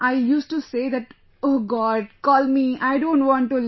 I used to say that oh God call me, I don't want to live